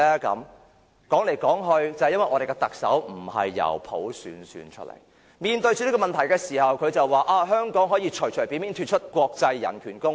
說來說去，也是由於我們的特首並非由普選產生，當面對這些問題時，他便會說香港可以隨便脫離國際人權公約。